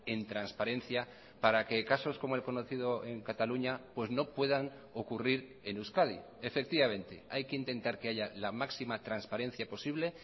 en transparencia para que casos como el conocido en cataluña pues no puedan ocurrir en euskadi efectivamente hay que intentar que haya la máxima transparencia posible